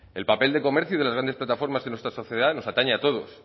el papel del comercio y de las grandes plataformas en nuestra sociedad nos atañe a todos